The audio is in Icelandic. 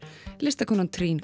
listakonan